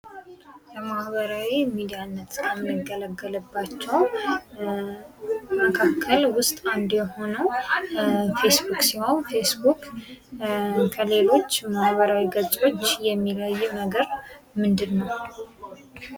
ከማህበራዊ ሚዲያነት ከምንገልገልባቸው መካከል ውስጥ አንዱ የሆነው ፌስ ቡክ ሲሆን ከሌሎች ማህበራዊ ገጾች የሚለየው ነገር ምንድነው?